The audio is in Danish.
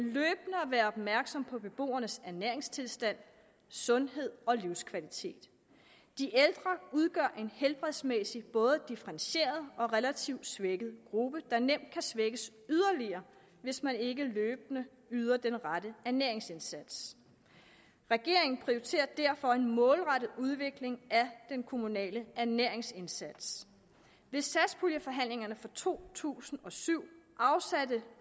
være opmærksomme på beboernes ernæringstilstand sundhed og livskvalitet de ældre udgør en helbredsmæssigt både differentieret og relativt svækket gruppe der kan svækkes yderligere hvis man ikke løbende yder den rette ernæringsindsats regeringen prioriterer derfor en målrettet udvikling af den kommunale ernæringsindsats ved satspuljeforhandlingerne for to tusind og syv afsatte